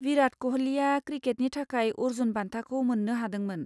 विराट क'हलीआ क्रिकेटनि थाखाय अर्जुन बान्थाखौ मोननो हादोंमोन।